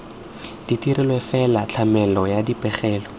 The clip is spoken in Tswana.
dirilwe fela tlamelo ya dipegelo